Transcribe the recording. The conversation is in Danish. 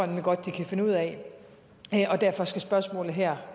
nemlig godt de kan finde ud af og derfor skal spørgsmålet her